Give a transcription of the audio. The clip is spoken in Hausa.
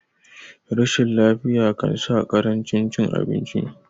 rashin lafiya kansa karancin cin abinci